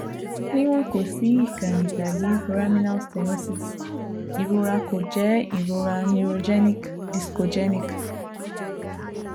Awọn disiki kekere / kekere ti o jade le wa fun gbogbo awọn eniyan